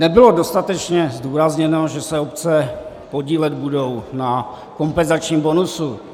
Nebylo dostatečně zdůrazněno, že se obce podílet budou na kompenzačním bonusu.